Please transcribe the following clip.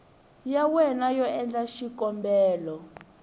ya wena yo endla xikombelo